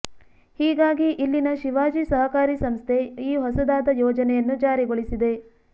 ಹೀಗಾಗಿ ಇಲ್ಲಿನ ಶಿವಾಜಿ ಸಹಕಾರಿ ಸಂಸ್ಥೆ ಈ ಹೊಸದಾದ ಯೋಜನೆಯನ್ನು ಜಾರಿಗೊಳಿಸಿದೆ